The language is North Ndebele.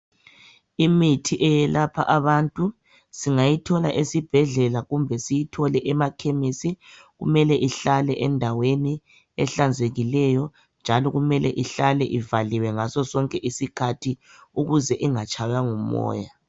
Imithi eyelapha abantu singayithola esibhedlela kumbe siyithole emakhemisi kumele ihlale endaweni ehlanzekileyo njalo kumele ihlale ivaliwe ngaso sonke isikhathi ukuze ingatshaywa ngumoya.